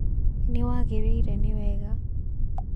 Nl wagĩrĩire nĩ wega